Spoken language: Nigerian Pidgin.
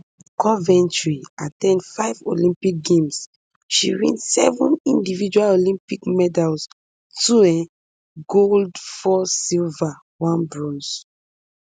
coventry at ten d five olympic games she win seven individual olympic medals two um gold four silver one bronze